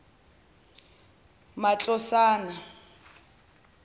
matlosana